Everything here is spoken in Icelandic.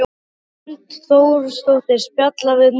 Hrund Þórsdóttir: Spjalla við múkkann?